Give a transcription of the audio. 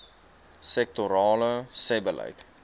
sektorale sebbeleid